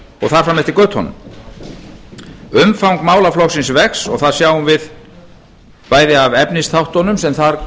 og þar fram eftir götunum umfang málaflokksins vex og það sjáum við bæði af efnisþáttunum sem þar